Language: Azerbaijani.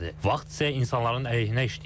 Vaxt isə insanların əleyhinə işləyir.